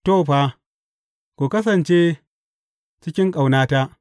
To, fa, ku kasance cikin ƙaunata.